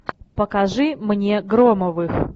покажи мне громовых